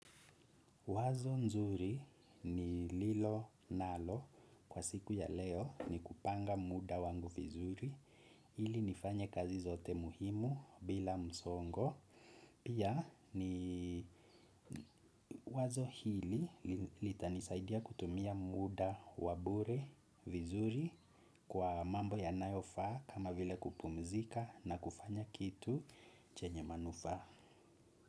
Wazo nzuri nililonalo kwa siku ya leo ni kupanga muda wangu vizuri ili nifanye kazi zote muhimu bila msongo pia ni wazo hili litanisaidia kutumia muda wa bure vizuri kwa mambo ya nayofaa kama vile kupumzika na kufanya kitu chenye manufaa.